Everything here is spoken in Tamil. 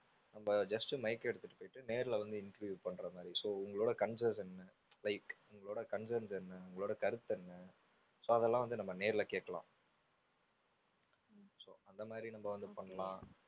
நம்ம just mike எடுத்துட்டு போயிட்டு நேர்ல வந்து interview பண்ற மாதிரி so உங்களோட concerns என்ன like உங்களோட concerns என்ன, உங்களோட கருத்து என்ன so அதெல்லாம் வந்து நம்ம நேர்ல கேக்கலாம் so அந்த மாதிரியும் நம்ம வந்து பண்ணலாம்.